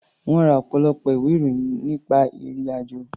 Wọ́n ra ọ̀pọ̀lọpọ̀ ìwé-ìròyìn nípa ìrì-àjò.